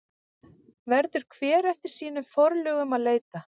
Verður hver eftir sínum forlögum að leita.